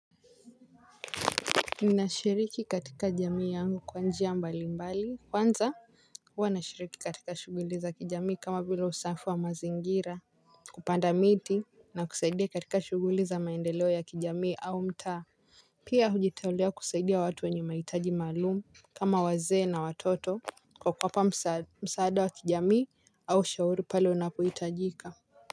Ninashiriki katika jamii yangu kwa njia mbali mbali kwanza huwa nashiriki katika shughuli za kijamii kama vile usafi wa mazingira. Kupanda miti na kusaidia katika shughuli za maendeleo ya kijamii au mtaa. Pia hujitolea kusaidia watu wenye mahitaji maalumu kama wazee na watoto. Kwa kuwapa msaada wa kijamii au ushauri pale unapohitajika.